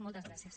moltes gràcies